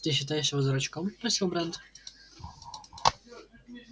ты считаешь его дурачком спросил брент